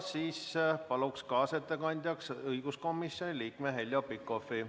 Palun kaasettekandjaks õiguskomisjoni liikme Heljo Pikhofi.